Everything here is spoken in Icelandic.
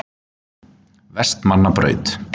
Vestmannabraut